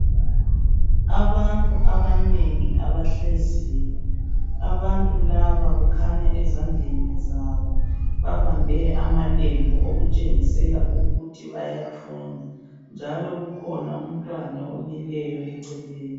Abantu abanengi abahleziyo abantu laba kukhanya ezandleni zabo babambe amalembu okutshengisela ukuthi bayathunga njalo kukhona umntwana omileyo eceleni.